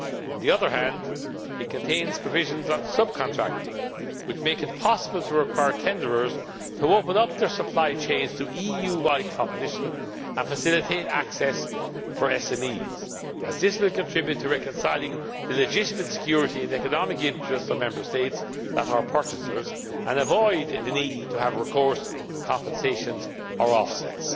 requirements. On the other hand, it contains provisions on subcontracting which make it possible to require tenderers to open up their supply chains to EU wide competition and facilitate access for SMEs, as this will contribute to reconciling the legitimate security and economic interests of Member States that are purchasers and avoid the need to have recourse to compensations or offsets.